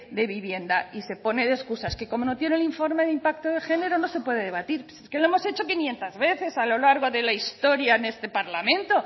de vivienda y se pone de excusa es que como no tiene el informe de impacto de género no se puede debatir si es que lo hemos hecho quinientos veces a lo largo de la historia en este parlamento